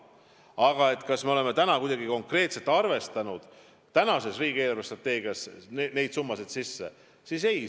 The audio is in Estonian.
Kui te küsite, kas me oleme neid summasid konkreetselt arvestanud riigi eelarvestrateegia tegemiseks, siis vastus on ei.